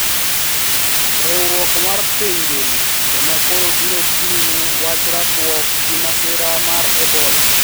Riwruok mar piny ngima ema koro biro chung`ne wach mar rakruok g imasira mar ebola